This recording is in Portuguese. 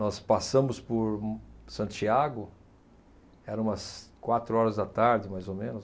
Nós passamos por, hum, Santiago, eram umas quatro horas da tarde, mais ou menos.